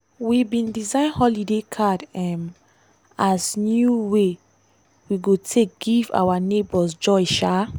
we bin design holiday card um as new way we go take give our neighbours joy. um